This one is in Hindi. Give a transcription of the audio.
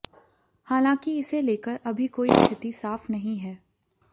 हालांकि इसे लेकर अभी कोइ स्थिति साफ़ नहीं है